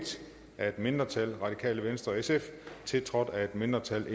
af et mindretal tiltrådt af et mindretal og